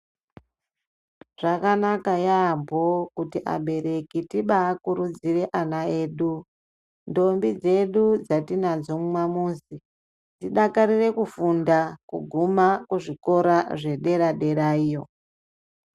Zvakanaka yamho kuti abereki tibaakurudzire ana edu ndombi dzedu dzatinadzo mumamuzi dzidakarire kufunda kuguma kuzvikora zvederadera iyo.